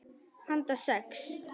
Handa sex